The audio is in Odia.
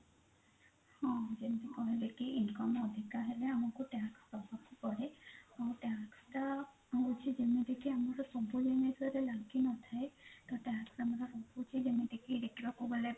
ହଁ ଯେମିତି କହିଲେ କି income ଅଧିକା ହେଲେ ଆମକୁ tax ଦବାକୁ ପଡେ ଆଉ tax ଟା ହୋଉଛି ଯେମିତି କି ଆମର ସବୁ ଜିନିଷ ରେ ଲାଗି ନ ଥାଏ ତ tax ଆମର ରହୁଛି କି ଯେମିତି କି ଦେଖିବାକୁ ଗଲେ